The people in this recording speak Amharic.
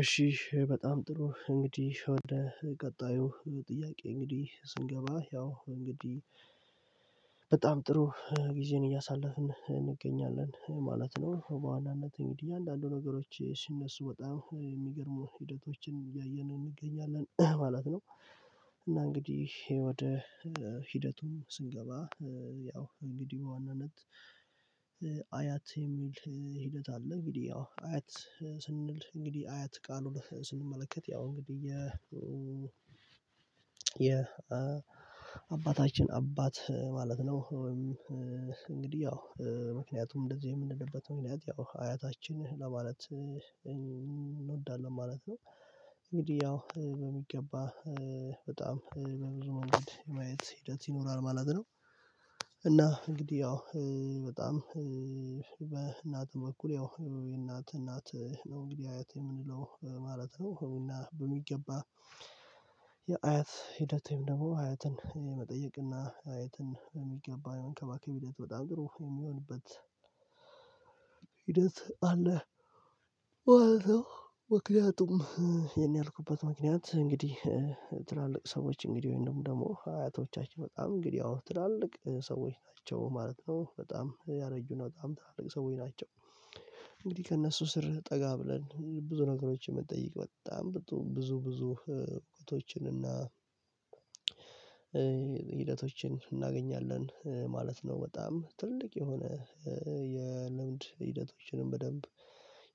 እሺ በጣም ጥሩ እንግዲህ ወደ ቀጣዩ ጥያቄ እንግዲህ ስንገባ ያው እንግዲህ በጣም ጥሩ ጊዜን እያሳለፍን እንገኛለን ማለት ነው በዋናነት እንግዲህ አንዳንዱ ነገሮች ሲነሱ በጣም የሚገርሙ ሂደቶችን እያየን እንገኛለን ማለት ነው። እና እንግዲህ ወደ ሂደቱም ስንገባ ያው እንግዲህ በዋናነት አያት የሚል ሂደት አለ። እንግዲህ ያው አያት ስንል እንግዲህ አያት ቃሉን ስንመለከት ያው እንግዲህ የ የ አባታችን አባት ማለት ነው። ወይም እንግዲህ ያው ምክንያቱም እንደዚህ የምንችልበት ምክንያት ያው አያታችን ለማለት እንወዳለን ማለት ነው። እንግዲህ ያው በሚገባ በጣም በብዙ መንገድ የማየት ሂደት ይኖራል ማለት ነው። እና እንግዲህ ያው በጣም በእናትም በኩል ያው የእናት እናት ነው እንግዲህ አያት የምንለው ማለት ነው። እና በሚገባ የአያት ሂደቴም ደግሞ አያትን መጠየቅና አያትን በሚገባ መንከባከብ ሂደት በጣም ጥሩ የሚሆንበት ሂደት አለ ማለት ነው። ምክንያቱም ይሄን ያልኩበት ምክንያት እንግዲህ ትላልቅ ሰዎች እንግዲህ ወይም ደግሞ አያቶቻችን በጣም እንግዲህ አዎ ትላልቅ ሰዎች ናቸው ማለት ነው በጣም ያረጁ ነው በጣም ትላልቅ ሰዎች ናቸው። እንግዲህ ከእነሱ ስር ጠጋ ብለን ብዙ ነገሮችን ብንጠይቅ በጣም ብዙ ብዙ እውቀቶችን እና ሂደቶችን እናገኛለን ማለት ነው። በጣም ትልቅ የሆነ የልምድ ሂደቶችንም በደንብ